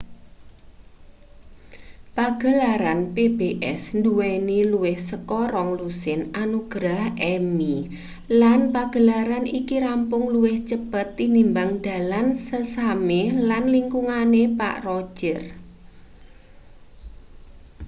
pagelaran pbs nduweni luwih saka rong-lusin anugrah emmy lan pagelaran iki rampung luwih cepet tinimbang dalan sesame lan lingkungane pak roger